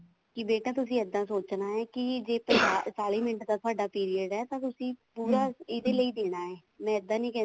ਕੇ ਬੇਟਾ ਤੁਸੀਂ ਇੱਦਾਂ ਸੋਚਣਾ ਹੈ ਕੇ ਪੰਜਾਹ ਚਾਲੀ ਮਿੰਟ ਦਾ ਤੁਹਾਡਾ period ਹੈ ਤਾਂ ਪੂਰਾ ਤੁਸੀਂ ਇਹਦੇ ਲਈ ਦੇਣਾ ਹੈ ਮੈਂ ਇੱਦਾਂ ਨੀ ਕਹਿੰਦੀ